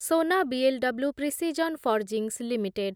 Sona BLW precision forgings limited